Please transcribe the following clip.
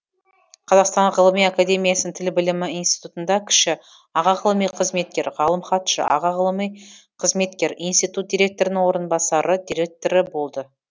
қазақстан ғылыми академиясының тіл білімі институтында кіші аға ғылыми қызметкер ғалым хатшы аға ғылыми қызметкер институт директорының орынбасары директоры болды